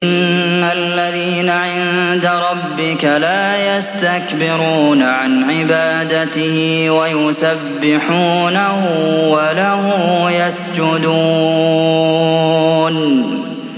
إِنَّ الَّذِينَ عِندَ رَبِّكَ لَا يَسْتَكْبِرُونَ عَنْ عِبَادَتِهِ وَيُسَبِّحُونَهُ وَلَهُ يَسْجُدُونَ ۩